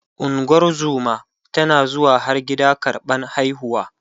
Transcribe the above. ungozuma tana zuwa har gida karɓan haihuwa